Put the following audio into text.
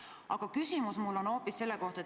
Aga küsimus on mul hoopis selle kohta.